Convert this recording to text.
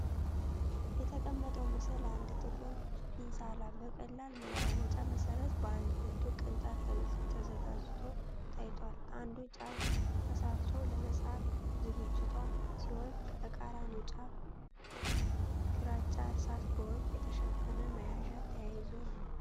የተቀመጠው ምስል አንድ ጥቁር ፊንሳላ በቀላል መለዋወጫ መሠረት በአንድ ብርቱ ቅንጣት ተዘጋጅቷ ታይቷል። አንዱ ጫፍ ተሳልቷ ለመጻፍ ዝግጅቷ ሲሆን፣ ከተቃራኒው ጫፍ ግራጫ እርሳስ በወርቅ የተሸፈነ መያዣ ተያይዞ ነው።